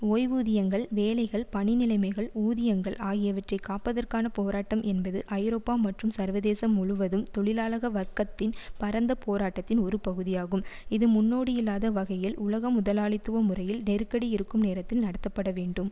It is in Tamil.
ஓய்வூதியங்கள் வேலைகள் பணி நிலைமைகள் ஊதியங்கள் ஆகியவற்றை காப்பதற்கான போராட்டம் என்பது ஐரோப்பா மற்றும் சர்வதேசம் முழுவதும் தொழிலாளக வர்க்கத்தின் பரந்த போராட்டத்தின் ஒரு பகுதியாகும் இது முன்னோடியில்லாத வகையில் உலக முதலாளித்துவ முறையில் நெருக்கடி இருக்கும் நேரத்தில் நடத்தப்பட வேண்டும்